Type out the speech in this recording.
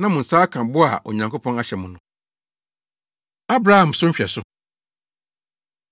na mo nsa aka bɔ a Onyankopɔn ahyɛ mo no. Abraham So Nhwɛso